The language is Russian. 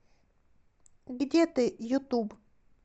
где ты ютуб